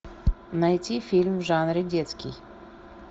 найти фильм в жанре детский